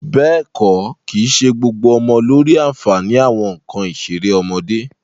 Bẹ́ẹ̀ kọ́, kìí ṣe gbogbo ọmọ ló rí àǹfààní àwọn nǹkan ìṣeré ọmọdé